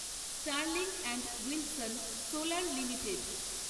Sterling and Wilson Solar limited